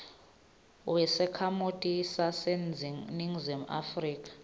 wesakhamuti saseningizimu afrika